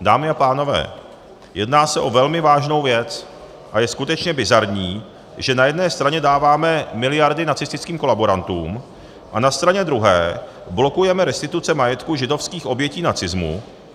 Dámy a pánové, jedná se o velmi vážnou věc a je skutečně bizarní, že na jedné straně dáváme miliardy nacistickým kolaborantům a na straně druhé blokujeme restituce majetku židovských obětí nacismu.